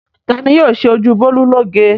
Ta ni yóò ṣe ojú Bólú lóge?